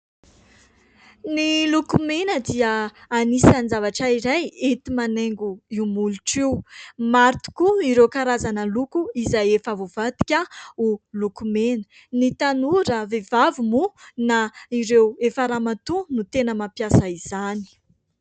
Ny lokomena dia anisan'ny zavatra iray enti-manaingo io molotra io. Maro tokoa ireo karazana loko izay efa voavadika ho lokomena. Ny tanora vehivavy moa na ireo efa ramatoa no tena mampiasa izany.